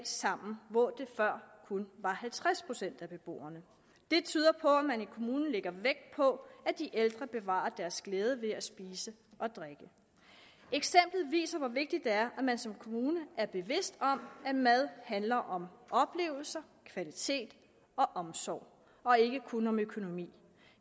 sammen hvor det før kun var halvtreds procent af beboerne det tyder på at man i kommunen lægger vægt på at de ældre bevarer deres glæde ved at spise og drikke eksemplet viser hvor vigtigt det er at man som kommune er bevidst om at mad handler om oplevelser kvalitet og omsorg og ikke kun om økonomi